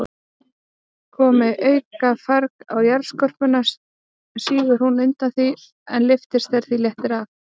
Komi aukafarg á jarðskorpuna, sígur hún undan því, en lyftist þegar því léttir af.